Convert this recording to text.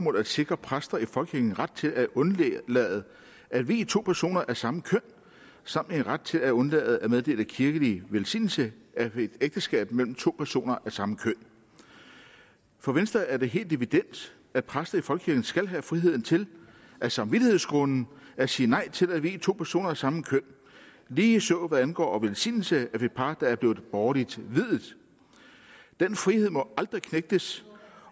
at sikre præster i folkekirken ret til at undlade at vie to personer af samme køn samt ret til at undlade at meddele kirkelig velsignelse af et ægteskab mellem to personer af samme køn for venstre er det helt evident at præster i folkekirken skal have friheden til af samvittighedsgrunde at sige nej til at vie to personer af samme køn og ligeså hvad angår velsignelse af par der er blevet borgerligt viet den frihed må aldrig knægtes